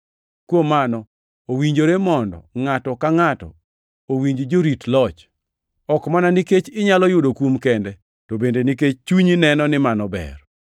Kuom mano, owinjore mondo ngʼato ka ngʼato owinj jorit loch, ok mana nikech inyalo yudo kum kende, to bende nikech chunyi neno ni mano ber.